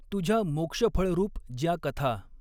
तुझ्या मोक्षफळरूप ज्या कथा।